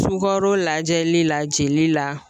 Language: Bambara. Sukaro lajɛli la jeli la